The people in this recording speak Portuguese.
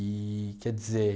Eee, quer dizer...